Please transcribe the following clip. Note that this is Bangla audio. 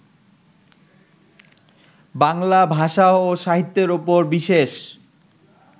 বাংলা ভাষা ও সাহিত্যের উপর বিশেষ